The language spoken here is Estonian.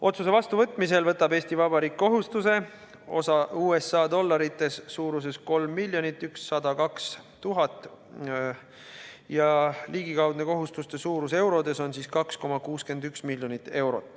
Otsuse vastuvõtmise korral võtab Eesti Vabariik kohustuse, mille suurus USA dollarites on 3 102 000 ja ligikaudne suurus eurodes on 2,61 miljonit.